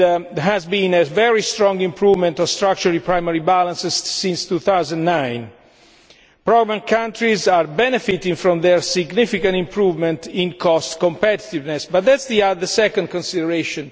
There has also been a very strong improvement of structural primary balances since 2009. Problem countries are benefiting from a significant improvement in their cost competitiveness, but that is the other secondary consideration.